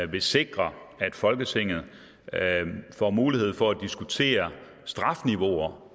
vil sikre at folketinget får mulighed for at diskutere strafniveauer